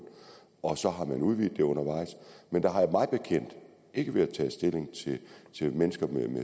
og så har man udvidet det undervejs men der har mig bekendt ikke været taget stilling til mennesker med